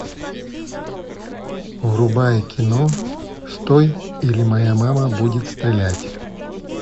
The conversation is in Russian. врубай кино стой или моя мама будет стрелять